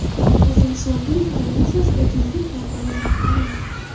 O‘zim Shandun provinsiyasidagi yirik kompaniya rahbariman.